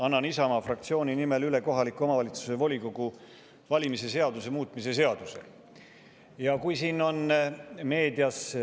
Annan Isamaa fraktsiooni nimel üle kohaliku omavalitsuse volikogu valimise seaduse muutmise seaduse.